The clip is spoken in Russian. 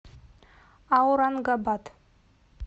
аурангабад